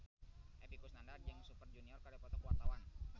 Epy Kusnandar jeung Super Junior keur dipoto ku wartawan